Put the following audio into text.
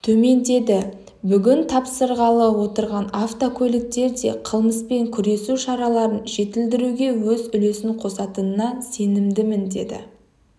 төмендеді бүгін тапсырғалы отырған автокөліктер де қылмыспен күресу шараларын жетілдіруге өз үлесін қосатынына сенімдімін деді